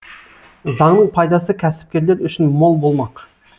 заңның пайдасы кәсіпкерлер үшін мол болмақ